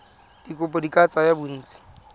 dikopo di ka tsaya bontsi